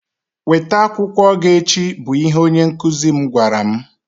weta akwụkwọ gị echi! bụ ihe onye nkụzi m gwara m.